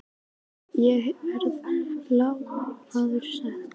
Ég hef verið lánsamur, sagði Marteinn.